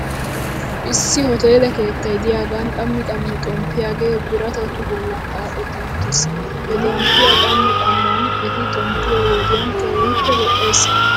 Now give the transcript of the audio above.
Issi hoteele keeta diyaagan qammi qammi xomppiyaagee biratatu bolla xaaxetti uttis. He xomppiyaa qaman qaman et xomppiyoo wodiyan keehippe lo'es.